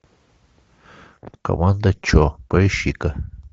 команда че поищи ка